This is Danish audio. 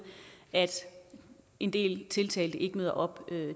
at en del tiltalte ikke møder op